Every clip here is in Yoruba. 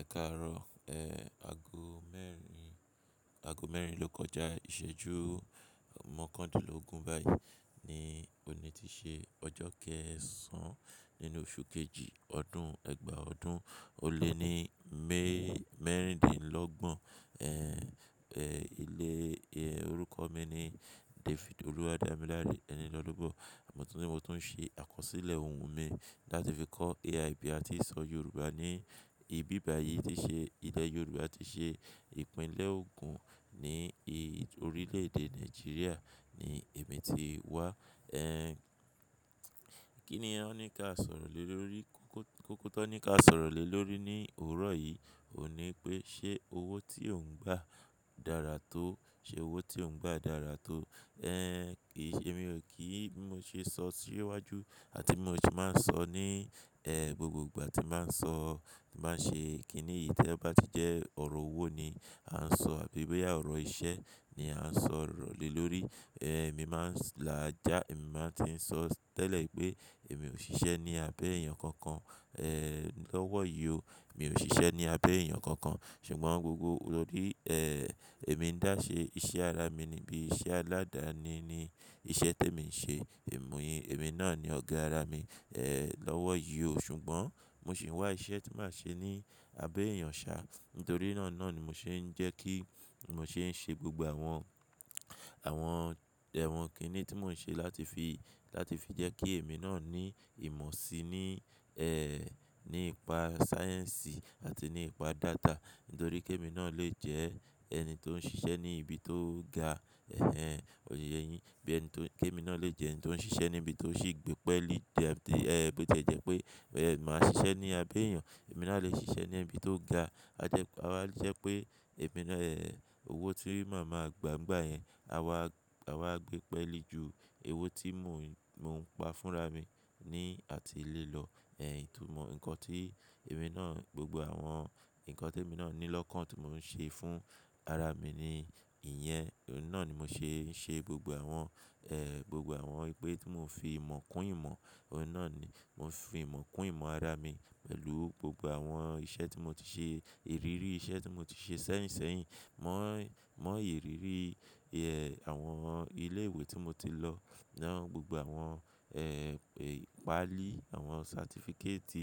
Ẹkáàárọ̀, ago mẹ́rin ló kọjá, ìṣẹ́jú mọ́kàndínlógún báyìí ni òní ti ṣe ọjọ́ kẹ́ẹ̀sán nínú oṣù kejì ọdún ẹgbàá ọdún. O lé ní mé mẹ́ríndínlọ́gbọ̀n, orúkọ mi ni David Oluwademilare Enilolubo. Mo tún ń ṣe àkọsílẹ̀ ohun mi láti fi kọ́ AI bí à ti sọ Yorùbá ní ibi bà yìí ti ṣe, ilẹ̀ Yorùbá ti ṣe ìpínlẹ̀ ogún ní orílẹ̀ èdè Nàìjíríà ni èmi ti wá. Kí ni wọn ní ká sọ̀rọ̀ lé lórí, kókó ti wọn ní ká sọ̀rọ̀ lé lórí ní òwúrọ̀ yìí òun ní pé ṣe owó tí ò ń gba dára tó, ṣe owó tí ò ń gba dára tó. Kì í ṣe, mí ò kí n, bí mó ṣe sọ sí iwájú àti mo sì bá ń sọ ní gbogbo ìgbà tí bá ń sọ, tí n bá ń ṣe kí ni yìí tí o bá ti jẹ́ ọ̀rọ̀ owó ni à ń sọ àbí bóyá ọ̀rọ̀ iṣẹ́ ni à ń sọ̀rọ̀ lé lórí. Èmi máa ń làjà, èmi máa ti ń sọ tẹ́lẹ̀ pé èmi ò ṣiṣẹ́ ní abẹ́ èèyàn kankan, lọ́wọ́ yi o. Mi ò ṣiṣẹ́ ní abẹ́ èèyàn kankan ṣùgbọ́n gbogbo tórí, èmi ń dá ṣe iṣẹ́ ara mi ni bí iṣẹ́ aládáni ni iṣẹ́ tí èmi ń ṣe. Èmí náà ni ọ̀gá ara mi, lọ́wọ́ yé o. Ṣùgbọ́n mo sì ń wá iṣẹ́ tí màá ṣe ní abẹ́ èèyàn ṣá. Nítorí náà ni mo ṣe ń jẹ́ kí ni mo ṣe ń ṣe gbogbo àwọn, àwọn kínní tí mò ń ṣe láti fi jẹ́ kí èmi náà ní ìmọ̀ sí ní, nípa sáyẹ́ǹsì àti nípa data. Nítorí kí èmi náà lè jẹ́ ẹni tó ń ṣiṣẹ́ ní ibi tó ga, òtiye yín, bí ẹni tó, kí èmi náà lè jẹ́ ẹni tó ń ṣiṣẹ́ níbi tó sì gbépẹ́lì, bí ó ti e jẹ́ pé, màá ṣiṣẹ́ ní abẹ́ èèyàn. Èmi náà a lè ṣiṣẹ́ ní ibi tó ga. A wá jẹ́ pé owó tí màá máa gba nígbà yẹn, à wá gbépẹ́lì ju owó tí mò ń pa fún ra mi ní àti ilé lọ. Ìtumọ̀ nǹkan tí èmi náà, gbogbo àwọn nǹkan tí èmi náà ní lọ́kàn tí mò ń ṣe fún ara mi ni ìyẹn. Òun náà ni mo ṣe ń ṣe gbogbo àwọn, gbogbo àwọn ìpè tí mò ń fi ìmọ̀ kún ìmọ̀. Òó náà ni mò ń fi ìmọ̀ kún ìmọ̀ ara mi pẹ̀lú gbogbo àwọn iṣẹ́ tí mo ti ṣe, ìrírí iṣẹ́ tí mo ti ṣe sẹ́yìn sẹ́yìn. Mọ́ ìrírí, àwọn ilé ìwé tí mo ti lọ náà, gbogbo àwọn paalí, àwọn certificate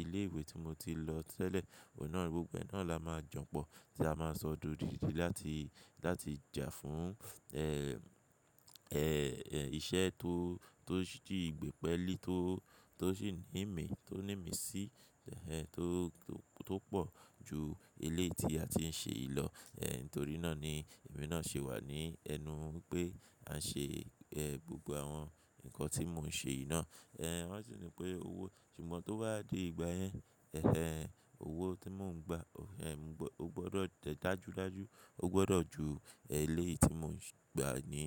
ilé ìwé tí mo ti lọ tẹ́lẹ̀. Òun náà gbogbo ẹ náà la máa jan pọ̀ tí a máa sọdi odidi láti, láti jà fún, iṣẹ́ tó sì gbépẹ́lì tó ní ìmí sí, tó pọ̀ ju eléyì tí a ti ń ṣe yi lọ. Nítorí náà ni èmi náà ṣe wà ní ẹnu pé à ń ṣe, gbogbo àwọn nǹkan tí mò ń ṣe yìí náà. Wọ́n sì ní pé owó, ṣùgbọ́n tó bá dé ìgbà yẹn, owó tí mò ń gba o gbọdọ̀ dàjú dàjú, o gbọdọ̀ ju eléyìí ti mò ń gba ní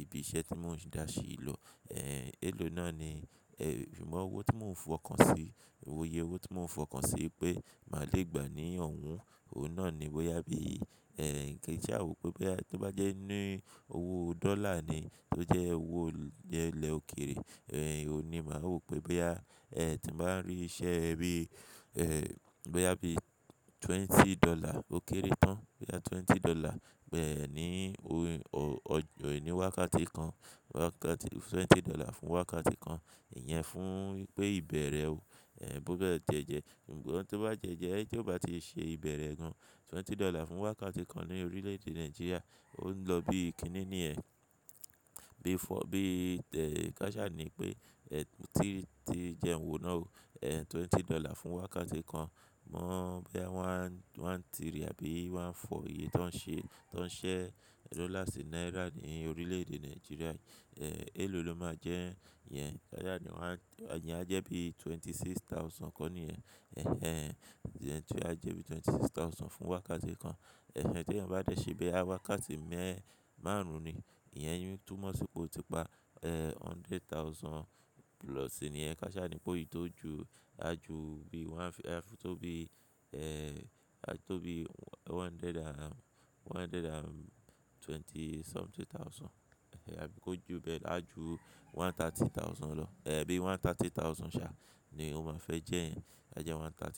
ibi iṣẹ́ tí mò ń dà ṣe lọ. Èlò náà ni, ṣùgbọ́n owó tí mò ń fọkàn sí, oye owó tí mò ń fọkàn sí pé màá le gba ní oun oun náà ni bóyá bí, kí n sá wo pé bóyá tó bá jẹ́ owó dollar ni tó jẹ́ owó jẹ́ ilẹ̀ òkèrè. Òun ní màá wò pé boya, tí màá ń rí iṣẹ́ bí, bóyá bí twenty dollar ó kéré tán bóyá twenty dollar ní wákàtí kan, twenty dollar fún wákàtí kan. Ìyẹn fún pé ìbẹ̀rẹ̀ ọ bó dẹ́ ti e jẹ́. Ṣùgbọ́n tó bá ti e jẹ́ tí ó bá ti ṣe ìbẹ̀rẹ̀ gan, twenty dollar fún wákàtí kan ní orílẹ̀ èdè Nàìjíríà ó ń lọ bíi kíni nìyẹn bíi káṣá ni pé, jẹun wò náà o, twenty dollar fún wákàtí kan mọ̀ bóyá one three àbí one four, tó ń ṣẹ́ dollar sí naira ní orílẹ̀ èdè Nàìjíríà. Èlò ló máa jẹ́ yẹn? Káṣá ni ìyẹn á jẹ́ bí i twenty six thousand kọ́ ni yẹn. Ìyẹn á jẹ́ bí i twenty six thousand fún wákàtí kan. Tí eeyin bá dẹ̀ ṣe bóyá wákàtí márùn-ún ni, ìyẹn ń túmọ̀ sí pé o ti pa, ẹ, hundred thousand plus nìyẹn. Káṣá ni pé ò ti tó ju, áa ju bí one, aa fẹ́ tó bí i tó bí i one hundred and, one hundred and twenty something thousand. Àbí kò ju bẹ́ẹ̀ lọ, á ju one thirty thousand lọ. Bí one thirty thousand ṣá ni ó máa fẹ́ jẹ́ yẹn. A jẹ́ one thirty.